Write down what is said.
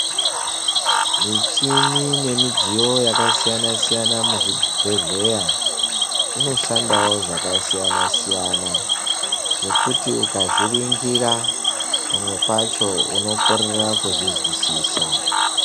Michini nemidziyo yakasiyana-siyana muzvibhehlera inoshanda zvakasiyana-siyana zvekuti ukazviringira, pamwe pacho unokorera kuzvizwisisa.